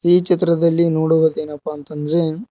ಈ ಚಿತ್ರದಲ್ಲಿ ನೋಡುವುದೇನಪ್ಪಾ ಅಂತ ಅಂದ್ರೆ--